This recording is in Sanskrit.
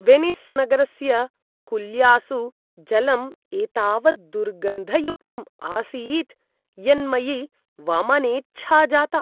वेनिस् नगरस्य कुल्यासु जलं एतावत् दुर्गन्धयुक्तम् आसीत् यन्मयि वमनेच्छा जाता।